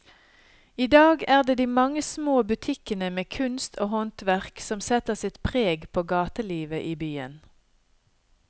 I dag er det de mange små butikkene med kunst og håndverk som setter sitt preg på gatelivet i byen.